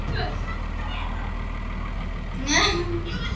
Hjónabandið innsiglað með kossi